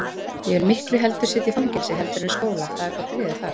Ég vil miklu heldur sitja í fangelsi heldur en skóla, það er þó friður þar.